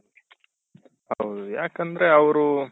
ಹೌದು ಯಾಕಂದ್ರೆ ಅವ್ರು